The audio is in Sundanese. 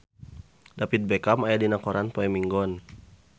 David Beckham aya dina koran poe Minggon